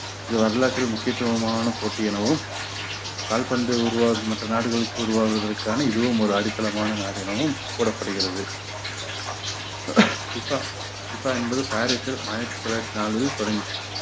இது வரலாற்றில் முக்கியத்துவமான போட்டி எனவும் கால்பந்து உருவா~ மற்ற நாடுகளுக்கு உருவாவதற்கான இதுவும் ஒரு அடித்தளமான நாடு எனவும் கூறப்படுகிறது FIFA fifa என்பது பாரிஸில் ஆயிரத்தி தொள்ளாயிரத்தி நாலில் தொடங்~